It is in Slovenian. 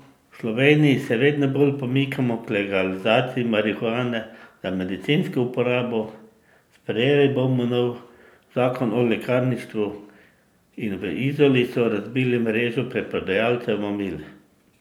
V Sloveniji se vedno bolj pomikamo k legalizaciji marihuane za medicinsko uporabo, sprejeli bomo nov zakon o lekarništvu in v Izoli so razbili mrežo preprodajalcev mamil.